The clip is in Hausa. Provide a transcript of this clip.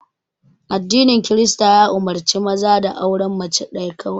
Addinin Kirista ya umurce maza da auren mace ɗaya kawai